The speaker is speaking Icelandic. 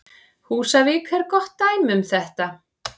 Húsavík er gott dæmi um þetta.